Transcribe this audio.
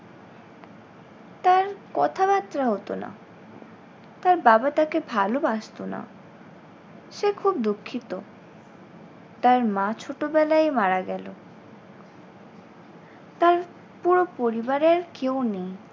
তার কথাবার্তা হতো না। তার বাবা তাকে ভালোবাসতো না। সে খুব দুঃখিত। তার মা ছোটবেলায় মারা গেল। তার পুরো পরিবারে আর কেউ নেই।